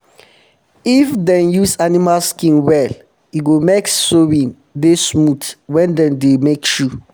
if um dem use animal skin well e go make sewing dey smooth wen dem dey make shoe